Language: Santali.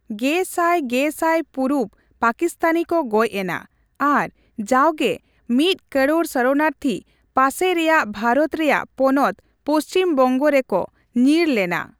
ᱜᱮ ᱥᱟᱭ ᱜᱮ ᱥᱟᱭ ᱯᱩᱨᱩᱵᱽ ᱯᱟᱹᱠᱤᱥᱛᱟᱱᱤ ᱠᱚ ᱜᱚᱪ ᱮᱱᱟ ᱟᱨ ᱡᱟᱣᱜᱮ ᱢᱤᱫ ᱠᱟᱨᱚᱲ ᱥᱚᱨᱚᱱᱟᱨᱛᱷᱤ ᱯᱟᱥᱮ ᱨᱮᱭᱟᱜ ᱵᱷᱟᱨᱚᱛ ᱨᱮᱭᱟᱜ ᱯᱚᱱᱚᱛ ᱯᱟᱹᱪᱷᱤᱢᱵᱝᱜᱚ ᱨᱮ ᱠᱚ ᱧᱤᱨ ᱞᱮᱱᱟ ᱾